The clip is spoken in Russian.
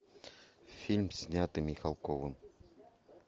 фильм снятый михалковым